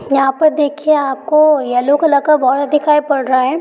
यहाँ पर देखिए आपको येलो कलर का बॉर्डर दिखाई पड़ रहा है।